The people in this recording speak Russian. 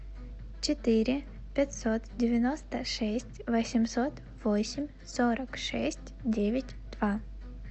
четыре пятьсот девяносто шесть восемьсот восемь сорок шесть девять два